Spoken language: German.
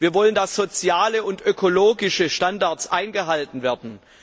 Wir wollen, dass soziale und ökologische Standards eingehalten werden.